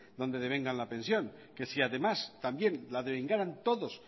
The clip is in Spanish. donde deben ganar la pensión si además también la devengaran todos